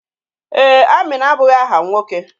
Ee, Amina abụghị áhà nwoke.